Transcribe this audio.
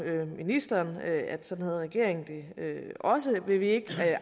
ministeren at sådan har regeringen det også vil vi ikke